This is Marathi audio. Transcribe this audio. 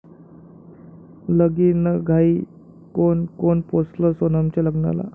लगीनघाई! कोण कोण पोचलं सोनमच्या लग्नाला?